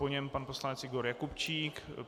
Po něm pan poslanec Igor Jakubčík.